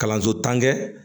Kalanso tan kɛ